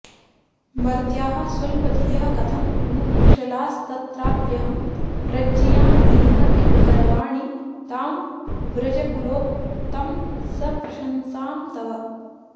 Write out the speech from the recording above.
मर्त्याः स्वल्पधियः कथं नु कुशलास्तत्राप्यहं प्रज्ञया हीनः किं करवाणि तां व्रजकुलोत्तंस प्रशंसां तव